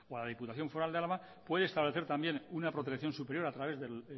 la diputación foral de álava puede establecer también una protección superior a través del